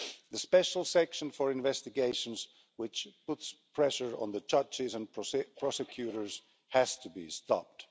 The special section for investigations, which puts pressure on the judges and prosecutors, has to be stopped.